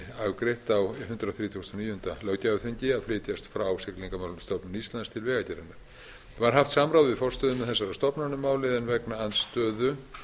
afgreitt á hundrað þrítugasta og níunda löggjafarþingi að flytjast frá siglingamálastofnun íslands til vegagerðarinnar var haft samráð við forstöðumenn þessara stofnana um málið en vegna andstöðu